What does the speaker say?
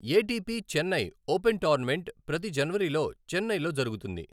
ATP Chennai open tournament ప్రతి జనవరిలో చెన్నైలో జరుగుతుంది.